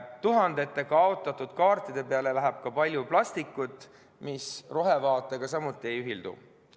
Tuhandete kaotatud kaartide peale läheb ka palju plastikut, mis rohevaatega samuti ei ühildu.